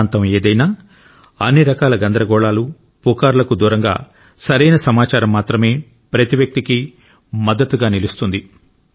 ప్రాంతం ఏదైనా అన్ని రకాల గందరగోళాలు పుకార్లకు దూరంగా సరైన సమాచారం మాత్రమే ప్రతి వ్యక్తికి మద్దతుగా నిలుస్తుంది